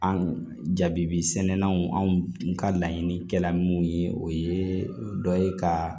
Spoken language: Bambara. An jabi sɛnɛnanw an ka laɲini kɛla mun ye o ye dɔ ye ka